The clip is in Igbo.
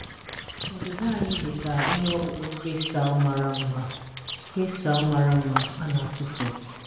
Ọdịda anyị dị ka ihe ọkpụkpụ kristal mara mma kristal mara mma a na-atụfu.